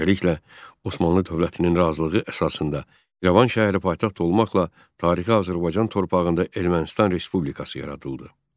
Beləliklə, Osmanlı dövlətinin razılığı əsasında İrəvan şəhəri paytaxt olmaqla tarixi Azərbaycan torpağında Ermənistan Respublikası yaradıldı.